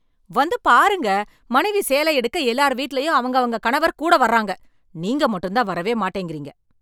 வந்து பாருங்க, மனைவி சேலை எடுக்க எல்லார் வீட்லயும் அவங்கவங்க கணவர் கூட வர்றாங்க. நீங்க மட்டும் தான் வரவே மாட்டிக்கிறீங்க.